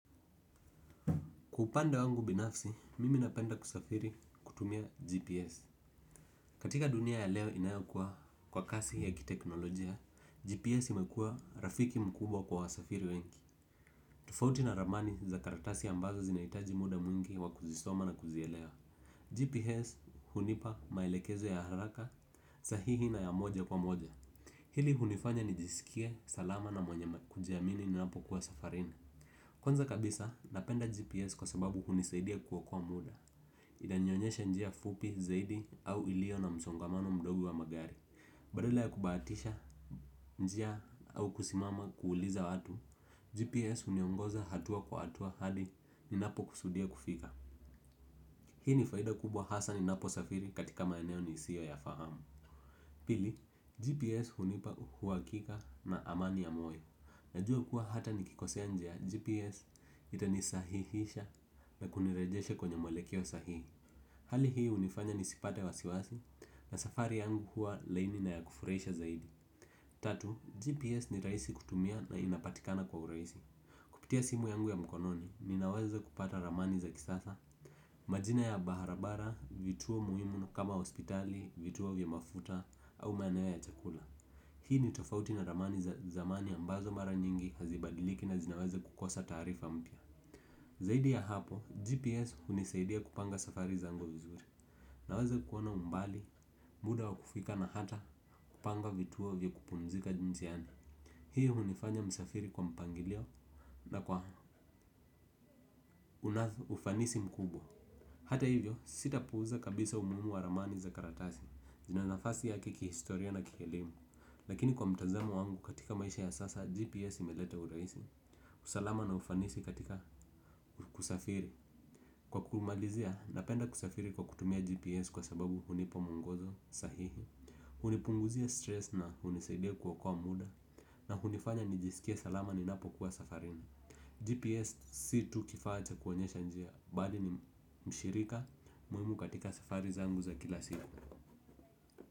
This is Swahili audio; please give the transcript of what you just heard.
Kupanda wangu binafsi, mimi napenda kusafiri kutumia GPS. Katika dunia ya leo inayokuwa kwa kasi ya kiteknolojia, GPS imekuwa rafiki mkubwa kwa wasafiri wengi. Tofauti na ramani za karatasi ambazo zinahitaji muda mwingi wa kuzisoma na kuzielewa GPS hunipa maelekezo ya haraka sahihi na ya moja kwa moja. Hili hunifanya nijisikie, salama na mwenye kujiamini ninapokuwa safarini. Kwanza kabisa, napenda GPS kwa sababu hunisaidia kuokoa muda. Inanionyesha njia fupi zaidi au ilio na msongamano mdogo wa magari. Badala ya kubahatisha njia au kusimama kuuliza watu GPS huniongoza hatua kwa hatua hadi ninapokusudia kufika hii ni faida kubwa hasa ninaposafiri katika maeneo nisioyafahamu pili GPS hunipa uhakika na amani ya moyo najua kuwa hataka nikikosea njia GPS itanisahihisha na kunirejesha kwenye mwelekeo sahihi. Hali hii hunifanya nisipate wasiwasi na safari yangu huwa laini na ya kufurahisha zaidi. Tatu, GPS ni rahisi kutumia na inapatikana kwa urahisi. Kupitia simu yangu ya mkononi, ninaweza kupata ramani za kisasa. Majina ya barabara, vituo muhimu kama hospitali, vituo vya mafuta au maeneo ya chakula. Hii ni tofauti na ramani za zamani ambazo mara nyingi hazibadiliki na zinaweza kukosa taarifa mpya. Zaidi ya hapo, GPS hunisaidia kupanga safari zangu vizuri. Naweza kuona umbali, muda wa kufika na hata kupanga vituo vya kupumzika njiani. Hii hunifanya msafiri kwa mpangilio na kwa unathu ufanisi mkubwa. Hata hivyo sitapuuza kabisa umuhimu wa ramani za karatasi zina nafasi yake kihistoria na kielimu lakini kwa mtazamo wangu katika maisha ya sasa GPS imeleta urahisi usalama na ufanisi katika kusafiri. Kwa kumalizia napenda kusafiri kwa kutumia GPS kwa sababu hunipa mungozo sahihi. Hunipunguzia stress na hunisaidia kuokoa muda. Na hunifanya nijisikie salama ninapokuwa safarini GPS si tu kifaa cha kuonyesha njia bali ni mshirika muhimu katika safari zangu za kila siku.